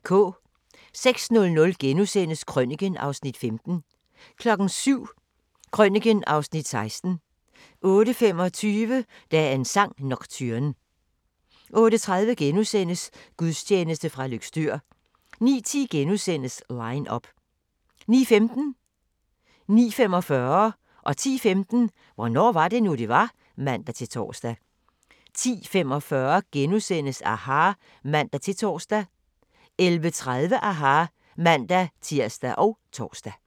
06:00: Krøniken (Afs. 15)* 07:00: Krøniken (Afs. 16) 08:25: Dagens sang: Nocturne 08:30: Gudstjeneste fra Løgstør * 09:10: Line up * 09:15: Hvornår var det nu, det var? (man-tor) 09:45: Hvornår var det nu, det var? (man-tor) 10:15: Hvornår var det nu, det var? (man-tor) 10:45: aHA! *(man-tor) 11:30: aHA! (man-tir og tor)